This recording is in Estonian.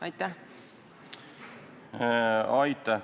Aitäh!